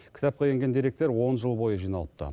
кітапқа енген деректер он жыл бойы жиналыпты